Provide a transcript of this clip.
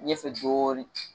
Ɲɛ fɛ dɔɔnin